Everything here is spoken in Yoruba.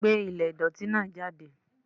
Gbé ilé ìdọ̀tí náà jáde.